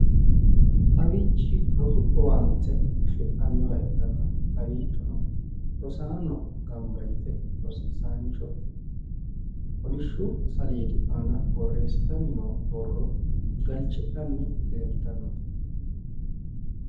Kawiichi rosu owaante afi'nanniwa ikkanna kawiichono rosaano gamba yite rosiisaancho kolishshu saleedi aana boorreessitanni no borro galichidhanni leeltanno.